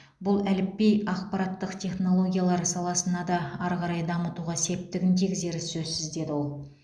бұл әліпби ақпараттық технологиялар саласын да ары қарай дамытуға септігін тигізері сөзсіз деді ол